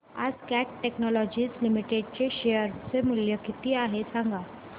आज Cat technologies limited चे share चे मूल्य किती आहे सांगा